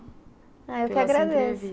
Ah, eu que agradeço.